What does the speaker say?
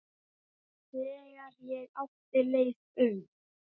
Þegar ég átti leið um